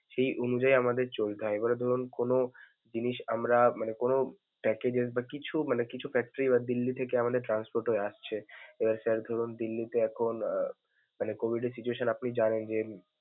সেই অনুযায়ী আমাদের চলতে হয়. এবারে ধরুন কোনো জিনিস আমরা মানে কোনো packages বা কিছু মানে কিছু factory বা দিল্লি থেকে আমাদের transport হয়ে আসছে. এবার sir ধরুন দিল্লিতে এখন আহ মানে COVID এর situation আপনি জানেন যে।